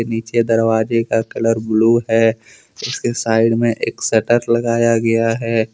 नीचे दरवाजे का कलर ब्लू है उसके साइड में एक शटर लगाया गया है।